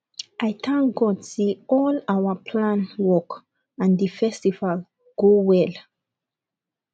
i thank god say all our plan work and the festival go well